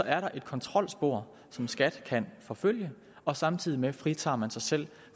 er der et kontrolspor som skat kan forfølge og samtidig fritager man sig selv